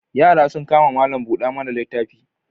Yara sun kama malam-buda-mana-littafi.